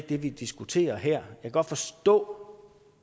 det vi diskuterer her kan godt forstå